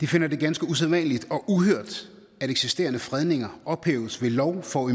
finder det ganske usædvanlige og uhørt at eksisterende fredninger ophæves ved lov for